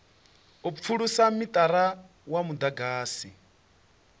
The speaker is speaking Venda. u pfulusa mithara wa mudagasi